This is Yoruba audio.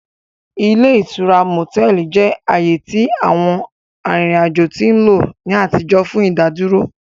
Ile itura motẹlì jẹ aaye ti àwọn arìrìn ajo ti nlo ni àtijọ́ fun ìdádúró.